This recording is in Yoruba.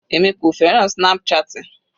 Èmi kò fẹ́ràn snap chatting.